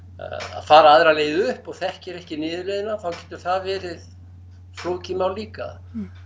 að fara aðra leið upp og þekkir ekki niðurleiðina þá getur það verið flókið mál líka